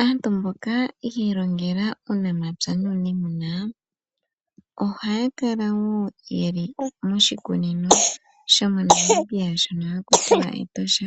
Aantu mboka yi ilongela uunamapya nuuniimuna ohaya kala wo ye li moshikunino shiinamwenyo shomoNamibia shono haku tiwa Etosha